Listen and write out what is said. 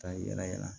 Ka yira yala